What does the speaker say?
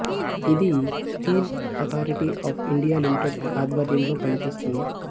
ఇది steel authority of India limited ఆధ్వర్యంలో పనిచేస్తుంది